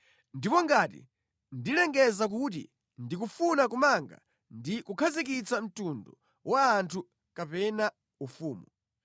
Ndipo ngati ndilengeza kuti ndikufuna kumanga ndi kukhazikitsa mtundu wa anthu kapena ufumu.